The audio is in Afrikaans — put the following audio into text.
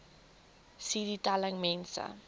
cd telling mense